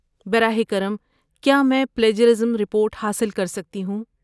براہ کرم، کیا میں پلیجرازم رپورٹ حاصل کر سکتی ہوں؟